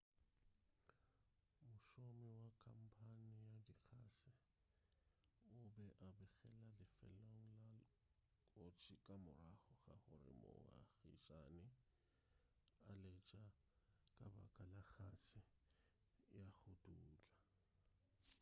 mošomi wa khamphane ya dikgase o be a begela lefelong la kotsi ka morago ga gore moagišane a letša ka baka la kgase ya go dutla